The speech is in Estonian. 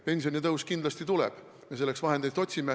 Pensionitõus kindlasti tuleb, me otsime selleks vahendeid.